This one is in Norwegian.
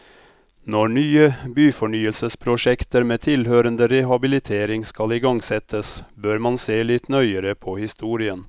Når nye byfornyelsesprosjekter med tilhørende rehabilitering skal igangsettes, bør man se litt nøyere på historien.